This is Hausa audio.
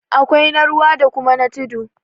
awkai na ruwa da kuma na tudu